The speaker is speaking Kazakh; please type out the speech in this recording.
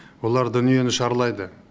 олар дүниені шарлайды